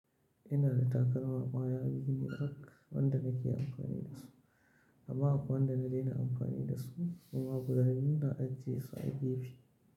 Ina da takalma ƙwaya biyu rak wanda nake amfani da su, amma akwai wanda na daina amfani da su kuma guda biyu na ajiye su a gefe.